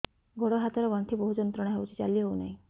ଗୋଡ଼ ହାତ ର ଗଣ୍ଠି ବହୁତ ଯନ୍ତ୍ରଣା ହଉଛି ଚାଲି ହଉନାହିଁ